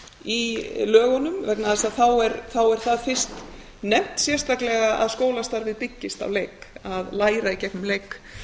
í lögunum vegna þess að þá er það fyrst nefnt sérstaklega að skólastarfið byggist á leik að læra í gegnum leik